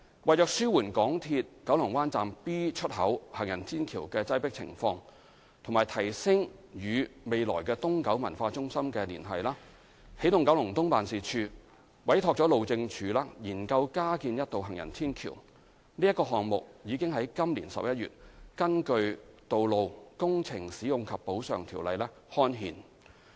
為紓緩港鐵九龍灣站 B 出口行人天橋的擠迫情況和提升與未來東九文化中心的連繫，起動九龍東辦事處委託了路政署研究加建一道行人天橋，該項目已於今年11月根據《道路條例》刊憲。